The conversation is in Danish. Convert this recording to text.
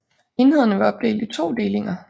Enhederne var opdelt i 2 delinger